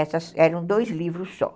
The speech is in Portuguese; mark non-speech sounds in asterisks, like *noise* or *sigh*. *unintelligible* Então, eram dois livros só.